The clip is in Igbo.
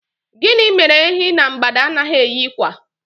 Gịnị mere Ehi na mgbada anaghị eyi kwa?